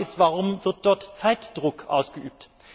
Die Frage ist Warum wird dort Zeitdruck ausgeübt?